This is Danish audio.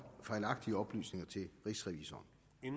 fejlagtige oplysninger til rigsrevisoren